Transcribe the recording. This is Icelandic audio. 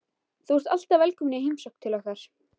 Þú ert alltaf velkomin í heimsókn til okkar.